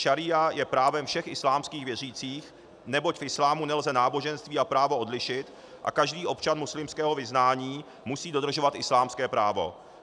Šaría je právem všech islámských věřících, neboť v islámu nelze náboženství a právo odlišit a každý občan muslimského vyznání musí dodržovat islámské právo.